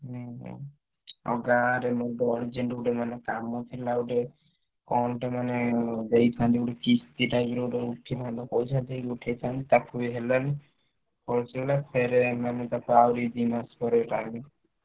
ହୁଁ ହୁଁ ଆଉ ଗାଁରେ ମୁଁ ପହଁଞ୍ଚିନି ଗୋଟେ ମାନେ କାମ ଥିଲା ଗୋଟେ କଣ ଟେ ମାନେ ଦେଇଥାନ୍ତି ଗୋଟେ କିସ୍ତି type ର ଗୋଟେ ଉଠିଥାନ୍ତା ପଇସା ଟିକେ ଉଠେଇଥାନ୍ତି ତାକୁ ବି ହେଲାନି। false ହେଇଗଲା। ଫେରେ ଆମେମାନେ ତାକୁ ଆହୁରି ଦି ମାସ ପରେ time